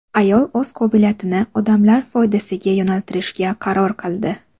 Ayol o‘z qobiliyatini odamlar foydasiga yo‘naltirishga qaror qildi.